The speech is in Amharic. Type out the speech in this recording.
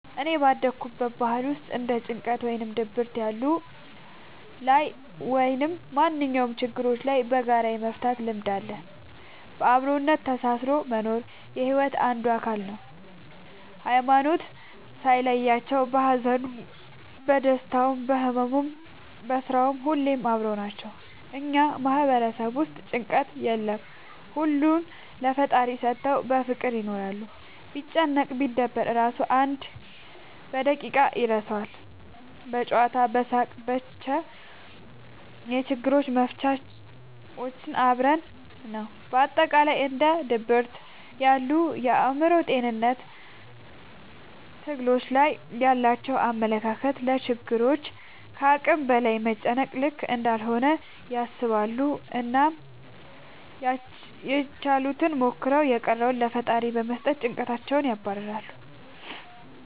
እኔ ባደኩበት ባህል ውስጥ እንደ ጭንቀት ወይም ድብርት ያሉ ላይ ወይም ማንኛውም ችግሮችን በጋራ የመፍታት ልምድ አለ። በአብሮነት ተሳስሮ መኖር የሒወት አንዱ አካል ነው። ሀይማኖት ሳይለያቸው በሀዘኑም በደስታውም በህመሙም በስራውም ሁሌም አብረው ናቸው። እኛ ማህበረሰብ ውስጥ ጭንቀት የለም ሁሉንም ለፈጣሪ ሰተው በፍቅር ይኖራሉ። ቢጨነቅ ቢደበር እራሱ አንድ በደቂቃ ይረሳል በጨዋታ በሳቅ በቻ የችግሮች መፍቻችን አብሮነት ነው። በአጠቃላይ እንደ ድብርት ያሉ የአእምሮ ጤንነት ትግሎች ላይ ያላቸው አመለካከት ለችግሮች ከአቅም በላይ መጨነቅ ልክ እንዳልሆነ ያስባሉ አናም ያችሉትን ሞክረው የቀረውን ለፈጣሪ በመስጠት ጨንቀትን ያባርራሉ።